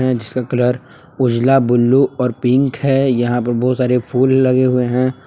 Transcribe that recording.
And इसका colour उजला blue और पिंक है यहां पे बहुत सारे फूल लगे हुए हैं।